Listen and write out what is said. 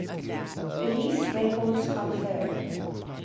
police records confirm